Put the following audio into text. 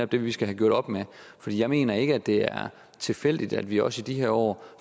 det vi skal have gjort op med for jeg mener ikke at det er tilfældigt at vi også i de her år